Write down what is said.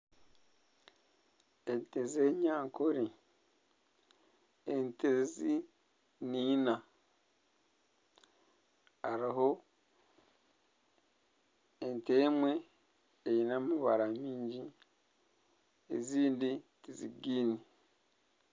Ente z'enyankore, ente ezi ni ina hariho ente emwe eine amabaara maingi ezindi tizigaine.